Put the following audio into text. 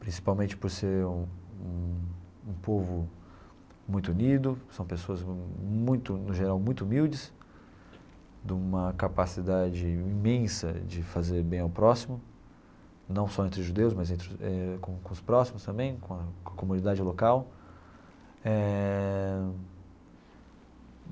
principalmente por ser um um povo muito unido, são pessoas muito, no geral, muito humildes, de uma capacidade imensa de fazer bem ao próximo, não só entre judeus, mas entre com com os próximos também, com a com a comunidade local eh.